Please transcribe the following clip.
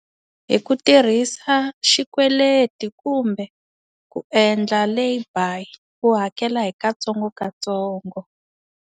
Hi ku tirhisa xikweleti kumbe ku endla lay-buy u hakela hi katsongokatsongo.